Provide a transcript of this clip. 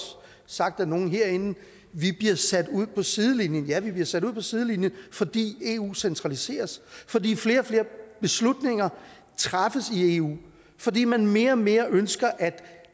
sagt af nogle herinde nemlig vi bliver sat ud på sidelinjen ja vi bliver sat ud på sidelinjen fordi eu centraliseres fordi flere og flere beslutninger træffes i eu fordi man mere og mere ønsker at